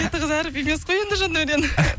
беті қызарып емес қой енді жандаурен